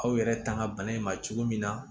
Aw yɛrɛ tanga bana in ma cogo min na